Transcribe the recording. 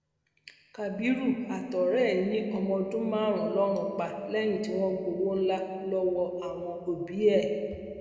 kábìrú àtọrẹ ẹ yín ọmọọdún márùnún lọrùn pa lẹyìn tí wọn gbowó ńlá lọwọ àwọn òbí ẹ